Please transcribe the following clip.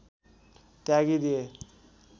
त्यागी दिए